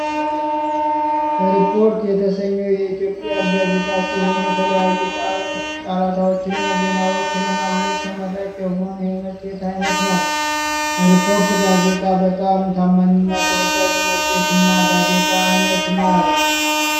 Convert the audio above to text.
ሪፖርተር የተሰኘው የኢትዮጵያ ጋዜጣ ሲሆን የተለያዩ ጫረታዎችንና ዜናዎችን ለማግኘት ተመራጭ የሆነ የመጽሔት አይነት ነው ። ሪፖርተር ጋዜጣ በጣም ታማኝና ተወዳጅ መጽሄትና ጋዜጣ አይነት ነው።